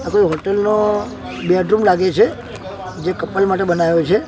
આ કોઈ હોટલ નો બેડરૂમ લાગે છે જે કપલ માટે બનાવ્યો છે.